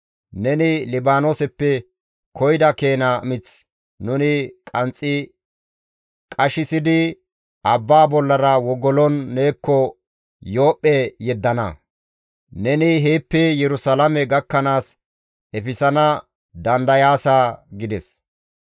Neni Libaanooseppe koyida keena mith nuni qanxxi qashissidi abbaa bollara wogolon neekko Yoophphe yeddana. Neni heeppe Yerusalaame gakkanaas efisana dandayaasa» gides.